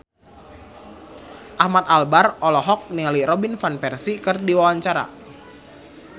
Ahmad Albar olohok ningali Robin Van Persie keur diwawancara